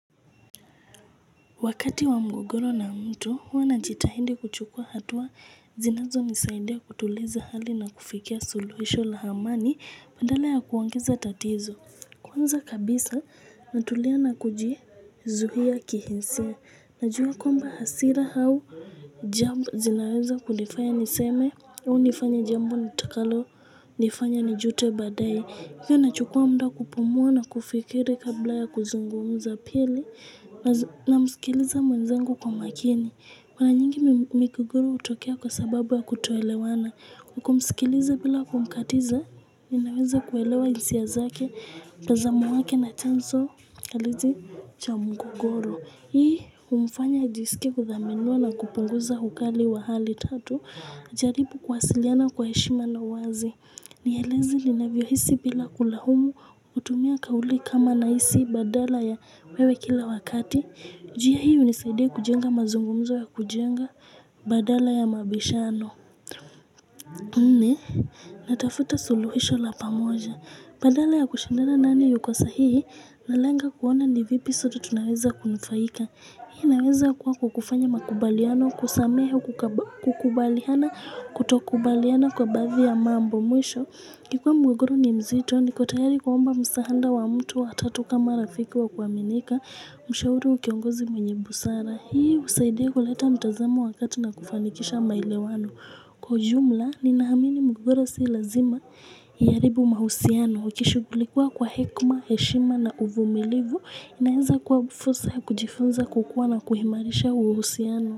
Wakati wa mgogoro na mtu, huwa najitahidi kuchukua hatua zinazo nisaidia kutuliza hali na kufikia suluhisho la amani badala ya kuongeza tatizo. Kwanza kabisa, natulia na kujizuhia kihisia. Najua kwamba hasira au jambo zinaweza kunifanya niseme, au nifanye jambo nitakalo nifanya nijute baadaye. Hii nachukua muda kupumuwa na kufikiri kabla ya kuzungumza pili na msikiliza mwenzangu kwa makini. Kwa nyingi migogoro hutokea kwa sababu ya kutoelewana. Kumsikiliza bila kumkatiza, ninaweza kuelewa hisia zake, tazamo wake na chanzo halisi cha mgogoro. Hii humfanya ajisikie kuthaminiwa na kupunguza ukali wa hali tatu, ajaribu kuwasiliana kwa heshima na wazi. Nieleze ninavyo hisi bila kulahumu kutumia kauli kama na hisi badala ya wewe kila wakati. Njia hii hunisaidia kujenga mazungumzo ya kujenga badala ya mabishano. Nne, natafuta suluhisho la pamoja. Badala ya kushindana nani yuko sahihi, nalenga kuona ni vipi sote tunaweza kunufaika. Hii inaweza kuwa kwa kufanya makubaliano kusamehe kukubaliana kutokubaliana kwa baadhi ya mambo mwisho. Kikuwa mgogoro ni mzito nikotayari kuomba msahada wa mtu wa tatu kama rafiku wa kuaminika mshauri ukiongozi mwenye busara. Hii husaidia kuleta mtazamo wakati na kufanikisha maelewano. Kwa ujumla ninaamini mgogoro si lazima ya haribu mahusiano. Ukishughulikia kwa hekima, heshima na uvumilivu. Inaeza kwa fursa ya kujifunza kukuwa na kuimarisha uuhusiano.